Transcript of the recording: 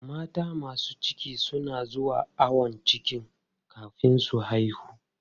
Mata masu ciki na zuwa ayon ciki kafin su haihu.